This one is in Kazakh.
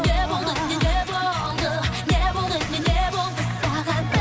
не болды не не болды не болды не не болды саған